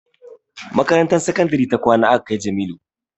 Makarantar sakandare ta kwana aka kai Jamilu